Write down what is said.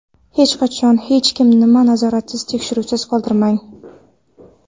Hech qachon va hech nimani nazoratsiz, tekshiruvsiz qoldirmang.